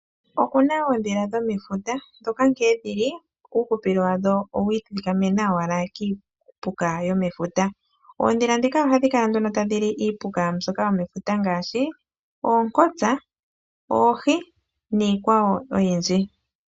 Oku na oondhila dhomefuta ndhoka nkene dhi li, uuhupilo wadho owa ithikamena owala kiipuka yomefuta. Oondhila ndhika ohadhi kala nduno tadhi li iipuka mbyoka yomefuta ngaashi: oonkotsa, oohi niikwawo oyindji.